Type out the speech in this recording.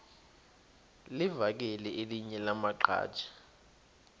livakele elinye lamaqhaji